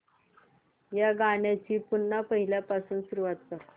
या गाण्या ची पुन्हा पहिल्यापासून सुरुवात कर